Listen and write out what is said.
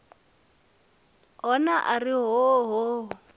hona a ri hoo hoo